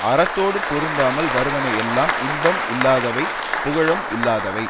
அறத்தோடு பொருந்தாமல் வருவன எல்லாம் இன்பம் இல்லாதவை புகழும் இல்லாதவை